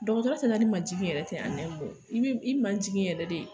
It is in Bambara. Dɔgɔtɔrɔya te ta ni majigi yɛrɛ tɛ an nɛ mo i b'i i maji yɛrɛ de